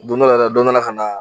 Don dɔ la yɛrɛ dɔ nana ka naa